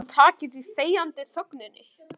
Heldurðu að hann taki því með þegjandi þögninni?